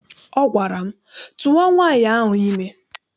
Ọ gwara m, tụwa nwaanyị ahụ ime!